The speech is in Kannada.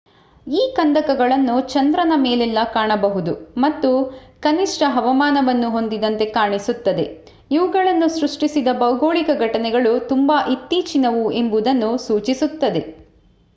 ಈ ಕಂದಕಗಳನ್ನು ಚಂದ್ರನ ಮೇಲೆಲ್ಲ ಕಾಣಬಹುದು ಮತ್ತು ಕನಿಷ್ಠ ಹವಾಮಾನವನ್ನು ಹೊಂದಿದಂತೆ ಕಾಣಿಸುತ್ತದೆ ಇವುಗಳನ್ನು ಸೃಷ್ಟಿಸಿದ ಭೌಗೋಳಿಕ ಘಟನೆಗಳು ತುಂಬಾ ಇತ್ತೀಚಿನವು ಎಂಬುದನ್ನು ಸೂಚಿಸುತ್ತದೆ